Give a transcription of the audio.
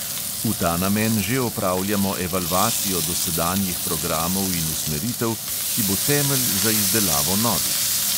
V ta namen že opravljamo evalvacijo dosedanjih programov in usmeritev, ki bo temelj za izdelavo novih.